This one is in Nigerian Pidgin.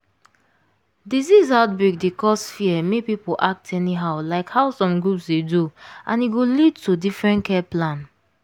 disease outbreak dey cause fear make people act anyhow like how some groups dey do and e go lead to different care plan.